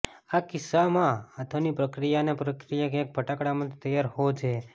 આ કિસ્સામાં આથોની પ્રક્રિયાના પ્રક્રિયક એ ફટાકડામાંથી તૈયાર હોવો જોઈએ